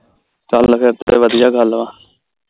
ਚਲ ਫਿਰ ਤੇ ਵਧਿਆ ਗੱਲ ਵਾ